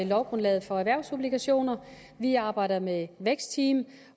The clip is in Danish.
lovgrundlaget for erhvervsobligationer vi arbejder med vækstteam